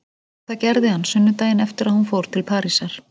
Og það gerði hann sunnudaginn eftir að hún fór til Parísar.